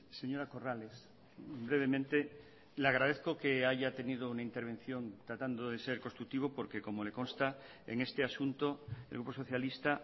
señora corrales brevemente le agradezco que haya tenido una intervención tratando de ser constructivo porque como le consta en este asunto el grupo socialista